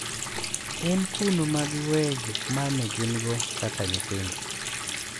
En kuno ma giweyoe gik ma ne gin-go kaka nyithindo .